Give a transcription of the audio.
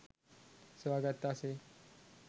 සොයාගත්තා සේ